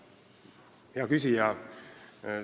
Määran muudatusettepanekute esitamise tähtajaks 29. märtsi kell 17.15.